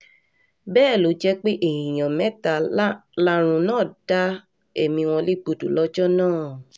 bẹ́ẹ̀ ló jẹ́ pé èèyàn mẹ́ta làrùn náà dá ẹ̀mí wọn légbodò lọ́jọ́ náà